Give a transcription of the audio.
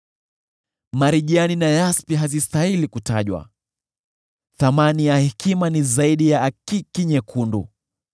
Marijani na yaspi hazistahili kutajwa; thamani ya hekima ni zaidi ya akiki nyekundu.